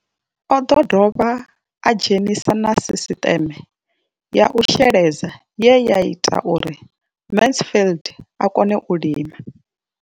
O ḓo dovha a dzhenisa na sisiṱeme ya u sheledza ye ya ita uri Mansfied a kone u lima.